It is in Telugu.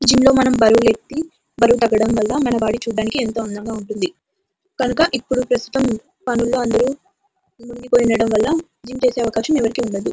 జిం లో మనం బరువులు ఎత్తి అబ్రువు తగ్గడం వాళ్ళ చూడడానికి మన బాడీ ఎంతో అందంగా ఉంటుంది కనుక ఇప్పుడు ప్రస్తుతం పనుల్లో అందరు మునిగి పోయిండడం వాళ్ళ జిం చేసే అవకాశం ఎవరికీ ఉండదు.